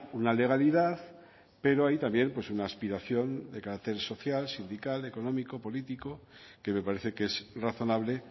una legalidad pero hay también una aspiración de carácter social sindical económico político que me parece que es razonable